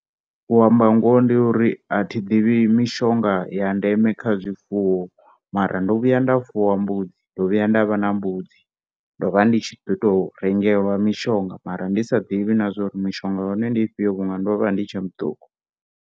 U amba ngoho ndi ya uri athi divhi mishonga ya ndeme kha zwifuwo mara ndo vhuya nda fuwa mbudzi ndo vhuya nda vha na mbudzi ndovha ndi tshi ḓi tou rengelwa mishonga mara ndi sa ḓivhi uri mishonga ya hone ndi ifhio vhunga ndo vha ndi tshe muṱuku.